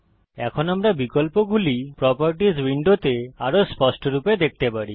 এখন আমরা বিকল্পগুলি প্রোপার্টিস উইন্ডোতে আরও স্পষ্টরূপে দেখতে পারি